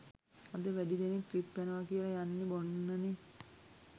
අද වැඩි දෙනෙක් ට්‍රිප් යනව කියල යන්නෙ බොන්නනෙ